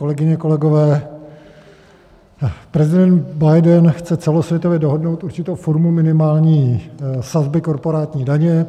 Kolegyně, kolegové, prezident Biden chce celosvětově dohodnout určitou formu minimální sazby korporátní daně.